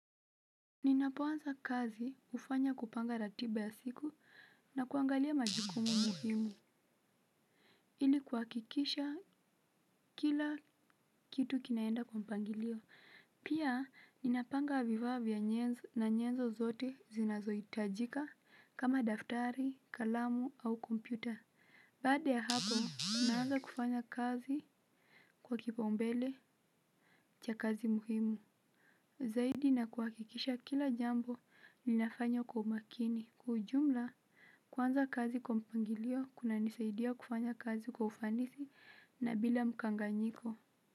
Ninapo anza kazi hufanya kupanga ratiba ya siku na kuangalia majukumu muhimu, ili kuhakikisha kila kitu kinaenda kwa mpangilio. Pia, ninapanga vifaa vya nyezo na nyezo zote zinazo hitajika kama daftari, kalamu au kompyuta. Baada ya hapo, naanza kufanya kazi kwa kipaumbele cha kazi muhimu. Zaidi na kuhakikisha kila jambo linafanywa kwa umakini kwa ujumla kuanza kazi kwa mpangilio kunanisaidia kufanya kazi kwa ufanisi na bila mkanganyiko.